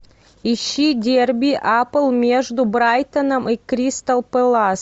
ищи дерби апл между брайтоном и кристал пэлас